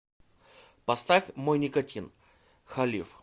поставь мой никотин халиф